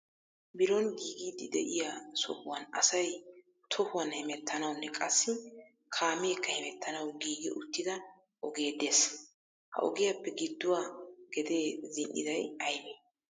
Biron giigidi de'iya sohuwan asay tohuwan hemettanawunne qassi kaameekka hemettanaw giigi uttida ogee de'ees. Ha ogiyaappe gidduwa gede zin"iday aybbe?